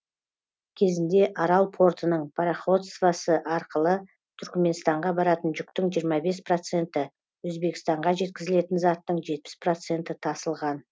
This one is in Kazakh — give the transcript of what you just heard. кезінде арал портының пароходствосы арқылы түрікменстанға баратын жүктің жиырма бес проценті өзбекстанға жеткізілетін заттың жетпіс проценті тасылған